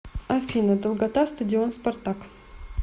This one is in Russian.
афина долгота стадион спартак